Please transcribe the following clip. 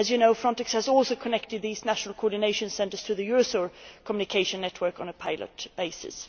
As you know Frontex has also connected these national coordination centres to the Eurosur communication network on a pilot basis.